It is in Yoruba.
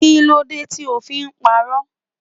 Kíló dé tí ó fi ń pa'rọ́?